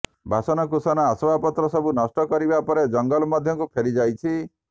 ବାସନକୁସନ ଆସବାବପତ୍ର ସବୁ ନଷ୍ଟ କରିବା ପରେ ଜଙ୍ଗଲ ମଧ୍ୟକୁ ଫେରି ଯାଇଛି